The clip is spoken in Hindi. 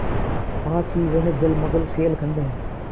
पास ही वह जलमग्न शैलखंड है